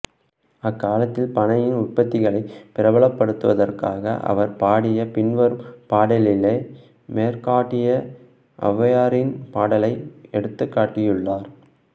அக்காலத்தில் பனையின் உற்பத்திகளைப் பிரபலப் படுத்துவதற்காக அவர் பாடிய பின்வரும் பாடலிலே மேற்காட்டிய ஔவையாரின் பாடலை எடுத்துக்காட்டியுள்ளார்